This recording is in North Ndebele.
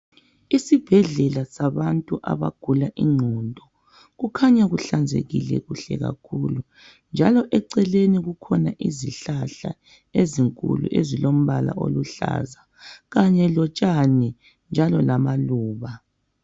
Isibhedlela sabantu abagula ingqondo kukhanya kuhlanzekile kuhle kakhulu njalo eceleni kukhona isihlahla esikhulu esilombala oluhlaza kanye lotshani njalo lamaluba.